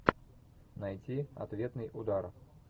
найти ответный удар